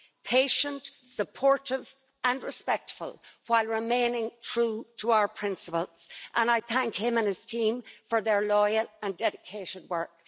patient, supportive and respectful, while remaining true to our principles and I thank him and his team for their loyal and dedicated work.